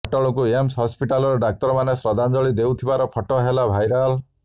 ଅଟଳଙ୍କୁ AIIMS ହସ୍ପିଟାଲର ଡାକ୍ତରମାନେ ଶ୍ରଦ୍ଧାଞ୍ଜଳି ଦେଉଥିବାର ଫଟୋ ହେଲା ଭାଇରାଲ